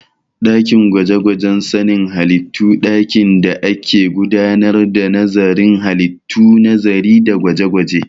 Ɗakin gwaje-gwajen sanin halittu dakin da ake gudanar da nazarin halittu, nazari da gwaje-gwaje